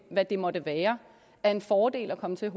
hvad det måtte være er en fordel at komme til